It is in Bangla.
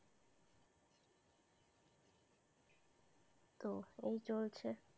তো এই চলছে।